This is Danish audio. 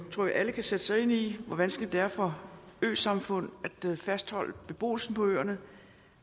tror at alle kan sætte sig ind i hvor vanskeligt det er for øsamfund at fastholde beboelsen på øerne